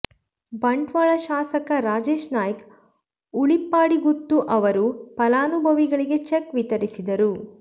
ಬಂಟ್ವಾಳ ಶಾಸಕ ರಾಜೇಶ್ ನಾಯ್ಕ್ ಉಳಿಪ್ಪಾಡಿಗುತ್ತು ಅವರು ಫಲಾನುಭವಿಗಳಿಗೆ ಚೆಕ್ ವಿತರಿಸಿದರು